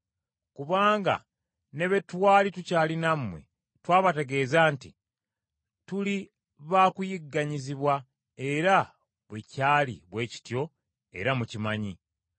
Kubanga ne bwe twali tukyali nammwe twabategeeza nti tuli baakuyigganyizibwa era bwe kyali bwe kityo era mukimanyi.